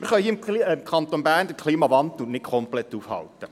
Wir können hier im Kanton Bern den Klimawandel nicht komplett aufhalten.